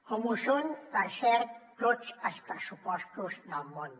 com ho són per cert tots els pressupostos del món